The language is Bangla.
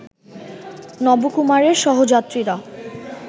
নবকুমারের সহযাত্রীরা